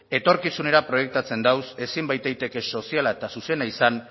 etorkizunera proiektatzen daude ezin baitaiteke soziala eta zuzena izan